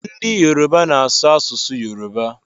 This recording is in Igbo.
Ndị Yoruba na-asụ asụsụ Yoruba